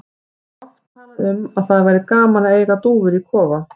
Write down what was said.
Þeir hafa oft talað um að það væri gaman að eiga dúfur í kofa.